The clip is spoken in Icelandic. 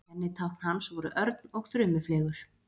Kennitákn hans voru örn og þrumufleygur.